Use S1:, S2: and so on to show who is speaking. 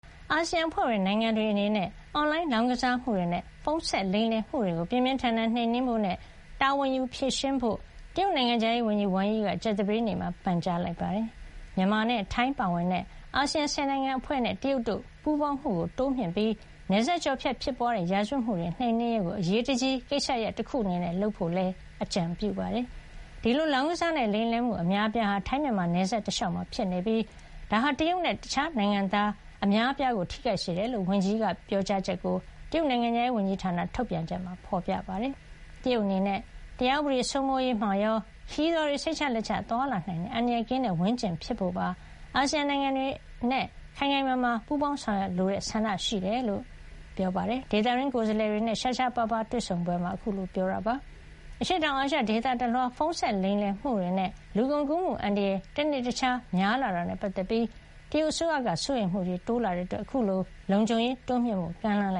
S1: အာဆီယံ အဖွဲ့ဝင် နိုင်ငံတွေ အနေနဲ့ အွန်လိုင်း လောင်းကစားမှုတွေနဲ့ ဖုံးဆက်လိမ်လည်မှုတွေကို ပြင်းပြင်းထန်ထန် နှိမ်နင်းဖို့ နဲ့ တာဝန်ယူ ဖြေရှင်းဖို့ တရုတ် နိုင်ငံခြားရေးဝန်ကြီး Wang Yi က ကြာသပတေးနေ့မှာ ပန်ကြားလိုက်ပါတယ်။ မြန်မာနဲ့ ထိုင်း ပါဝင်တဲ့ အာဆီယံ ၁၀ နိုင်ငံအဖွဲ့နဲ့ တရုတ်တို့ ပူးပေါင်းမှု တိုးမြှင့်ပြီး နယ်စပ်ကျော်ဖြတ် ဖြစ်ပွါးတဲ့ ရာဇဝတ်မှု တွေကို နှိမ်နင်း ရေးကို အရေးတကြီး ကိစ္စရပ် တခု အနေနဲ့ လုပ်ဆောင်ဖို့လည်း အကြံပြုပါတယ်။ ဒီလို လောင်းကစားနဲ့ လိမ်လည်မှု အများအပြားဟာ ထိုင်း- မြန်မာ နယ်စပ်တလျှောက်မှာ ဖြစ်ပွါးနေပြီး ဒါဟာ တရုတ်နဲ့ တခြားနိုင်ငံသား အများအပြားကို ထိခိုက်စေတယ်လို့ ဝန်ကြီး Wang Yi ရဲ့ ပြောကြားချက်ကို တရုတ်နိုင်ငံခြားရေးဝန်ကြီးဌာန ထုတ်ပြန်ချက်မှာ ဖေါ်ပြထား ပါတယ်။ တရုတ်အနေနဲ့ တရားဥပဒေစိုးမိုးရေးမှာရော၊ ခရီးသွားတွေ စိတ်ချလက်ချ သွားလာနိုင်တဲ့ အန္တရာယ်ကင်းတဲ့ ဝန်းကျင်ဖြစ်ဖို့ပါ အာဆီယံနိုင်ငံ တွေနဲ့ ခိုင်ခိုင်မာမာ ပူးပေါင်းဆောင်ရွက်လိုတဲ့ ဆန္ဒရှိကြောင်း ဒေသတွင်းကိုယ်စားလှယ်တွေနဲ့ ရှားရှားပါးပါး တွေ့ဆုံပဲမှာ ပြောကြားခဲ့တာပါ။ အရှေ့တောင်အာရှ ဒေသတလွှား ဖုံးဆက်လိမ်လည် မှုတွေနဲ့ လူကုန်ကူးမှု အန္တရာယ် တနေ့တခြား များပြားလာတာနဲ့ ပတ်သက်ပြီး တရုတ်အစိုးရက စိုးရိမ်မှုတိုးလာတာကြောင့် အခုလို လုံခြုံရေး တိုးမြှင့်ဖို့ ကမ်းလှမ်းလ